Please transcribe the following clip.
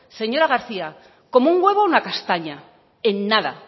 señora garcía como un huevo una castaña en nada